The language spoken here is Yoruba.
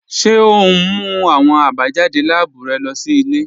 Ṣe o n mú awọn àbájádé láàbù rẹ lọ sí ilẹ̀?